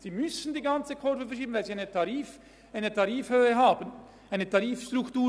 Sie müssen die ganze Kurve verschieben, die ganze Tarifstruktur.